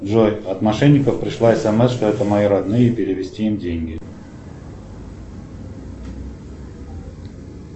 джой от мошенников пришла смс что это мои родные и перевести им деньги